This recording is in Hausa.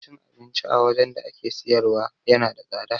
Cin abinci a wajan da ake siyarwa yana da tsada